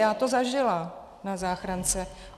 Já to zažila na záchrance.